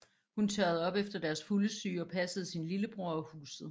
Hun tørrede op efter deres fuldesyge og passede sin lillebror og huset